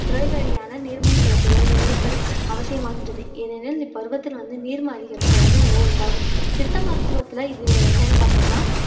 துறைவழியான நீர்மூண் செலுத்துதல் நிறுத்தல் அவசியமாகின்றது ஏனெனில் இப்பருவத்தில் வந்து நீர்ம அதிகரிப்பு வந்து நிலை உண்டாகும் சித்தா மருத்துவத்துல இது என்னன்னு பார்த்தோம்னா